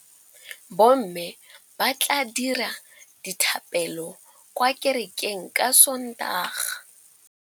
Bommê ba tla dira dithapêlô kwa kerekeng ka Sontaga.